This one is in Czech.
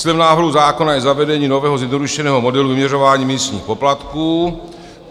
Cílem návrhu zákona je zavedení nového zjednodušeného modelu vyměřování místních poplatků.